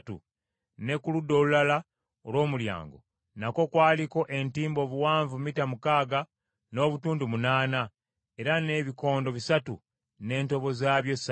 Ne ku ludda olulala olw’omulyango nakwo kwaliko entimbe obuwanvu mita mukaaga n’obutundu munaana, era n’ebikondo bisatu n’entobo zaabyo ssatu.